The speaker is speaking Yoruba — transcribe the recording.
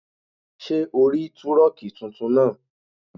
Ṣé ò rí túrọ̀nkì tuntun náà?